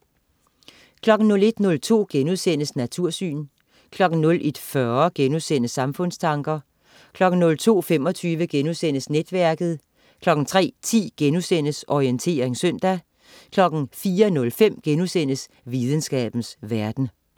01.02 Natursyn* 01.40 Samfundstanker* 02.25 Netværket* 03.10 Orientering søndag* 04.05 Videnskabens verden*